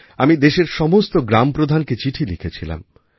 আমি দেশের সমস্ত গ্রামপ্রধানকে চিঠি লিখেছিলাম